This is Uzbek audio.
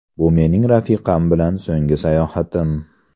Bu mening rafiqam bilan so‘nggi sayohatim.